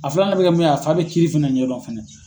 A filanan be kɛ min ye , a fa be kiiri fɛnɛ ɲɛdɔn fɛnɛ.